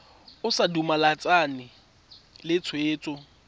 o sa dumalane le tshwetso